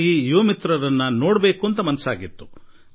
ಈ ಯುವ ಗೆಳೆಯರನ್ನು ನೋಡುವ ಅವರೊಂದಿಗೆ ಮಾತನಾಡುವ ಮನಸ್ಸಾಗಿತ್ತು